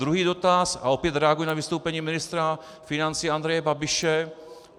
Druhý dotaz, a opět reaguji na vystoupení ministra financí Andreje Babiše.